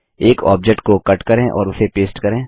एक ऑब्जेक्ट को कट करें और उसे पेस्ट करें